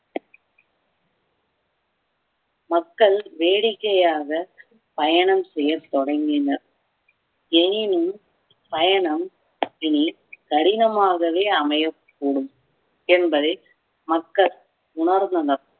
மக்கள் வேடிக்கையாக பயணம் செய்யத் தொடங்கினர் எனினும் பயணம் இனி கடினமாகவே அமையக்கூடும் என்பதை மக்கள் உணர்ந்தனர்